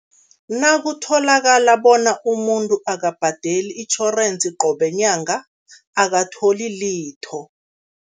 Nakutholakala bona umuntu akabhadeli itjhorensi qobe nyanga, akatholi litho.